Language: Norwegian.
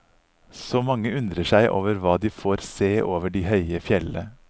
Så mange undrer seg over hva de får se over de høye fjelle.